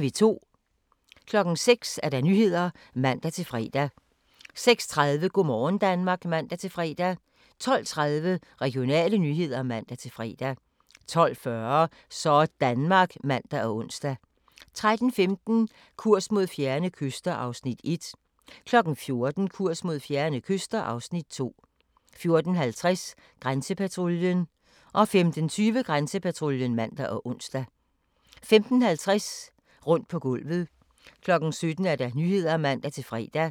06:00: Nyhederne (man-fre) 06:30: Go' morgen Danmark (man-fre) 12:30: Regionale nyheder (man-fre) 12:40: Sådanmark (man og ons) 13:15: Kurs mod fjerne kyster (Afs. 1) 14:00: Kurs mod fjerne kyster (Afs. 2) 14:50: Grænsepatruljen 15:20: Grænsepatruljen (man og ons) 15:50: Rundt på gulvet 17:00: Nyhederne (man-fre)